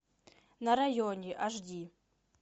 на районе аш ди